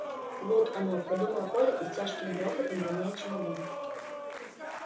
вот оно подумал коля с тяжким грохотом роняя чемодан